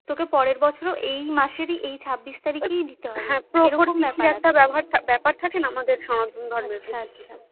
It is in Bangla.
তোকে পরের বছরও এই মাসের এই ছাবিশ তারিখে দিতে হবে একটা ব্যাপার থাকেনা আমাদের সমাজ